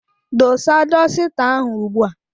Dosa dosita ahụ ugbu a!